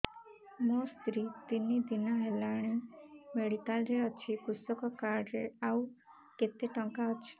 ମୋ ସ୍ତ୍ରୀ ତିନି ଦିନ ହେଲାଣି ମେଡିକାଲ ରେ ଅଛି କୃଷକ କାର୍ଡ ରେ ଆଉ କେତେ ଟଙ୍କା ଅଛି